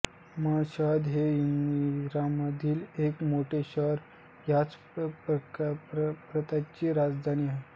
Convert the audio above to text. Mashhad हे इराणमधील एक मोठे शहर ह्या प्रांतची राजधानी आहे